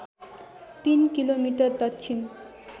तीन किलोमिटर दक्षिण